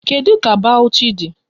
Kedu ka Bawuchi dị?